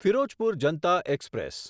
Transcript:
Firozpur Janata express